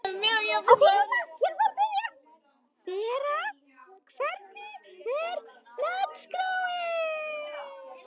Vera, hvernig er dagskráin?